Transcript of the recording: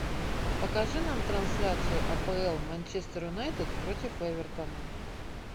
покажи нам трансляцию апл манчестер юнайтед против эвертона